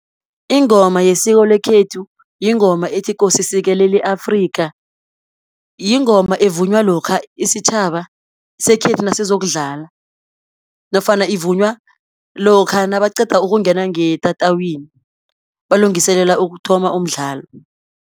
Ingoma yesiko lekhethu, yingoma ethi ''Kosi sikelela i-Afrika'' yingoma evunywa lokha isitjhaba sekhethu nasizokudlala, nofana ivunywa lokha nabaqeda ukungena ngetatawini balungiselela ukuthoma umdlalo.